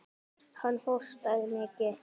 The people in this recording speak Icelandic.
Hann hóstaði mikið.